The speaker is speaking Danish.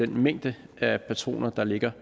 mængden af patroner der ligger